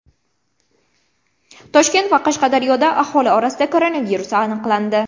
Toshkent va Qashqadaryoda aholi orasida koronavirus aniqlandi.